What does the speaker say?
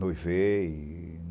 Noivei.